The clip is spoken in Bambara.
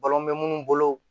Balɔn bɛ minnu bolo